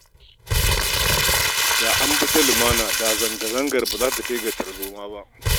Da an bi ta lumana, da zanga-zangar ba za ta kai ga tarzoma ba